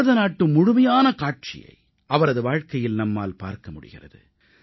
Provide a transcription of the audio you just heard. பாரத நாட்டு முழுமையான காட்சியை அவரது வாழ்க்கையில் நம்மால் பார்க்க முடிகிறது